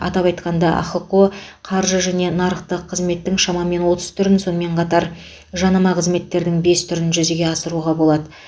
атап айтқанда ахқо қаржы және нарықтық қызметтің шамамен отыз түрін сонымен қатар жанама қызметтердің бес түрін жүзеге асыруға болады